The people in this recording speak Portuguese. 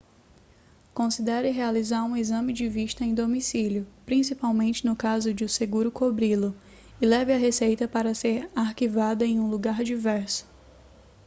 considere realizar um exame de vista em domicílio principalmente no caso de o seguro cobri-lo e leve a receita para ser arquivada em um lugar diverso